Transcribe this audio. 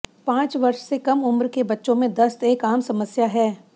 पांच वर्ष से कम उम्र के बच्चों में दस्त एक आम समस्या है